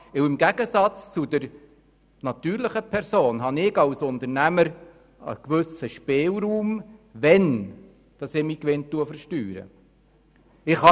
Im Gegensatz zu den natürlichen Personen habe ich nämlich als Unternehmer einen gewissen Spielraum, wann ich meinen Gewinn versteure.